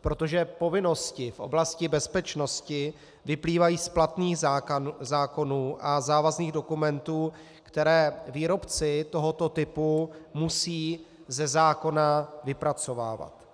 protože povinnosti v oblasti bezpečnosti vyplývají z platných zákonů a závazných dokumentů, které výrobci tohoto typu musí ze zákona vypracovávat.